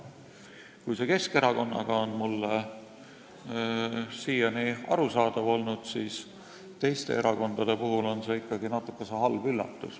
Kui Keskerakonna puhul on see mulle siiani arusaadav olnud, siis teiste erakondade näol on see ikkagi natuke halb üllatus.